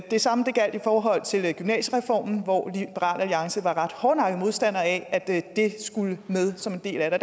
det samme gjaldt i forhold til gymnasiereformen hvor liberal alliance var ret hårdnakkede modstandere af at det skulle med som en del af den